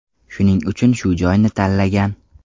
Shuning uchun shu joyni tanlagan.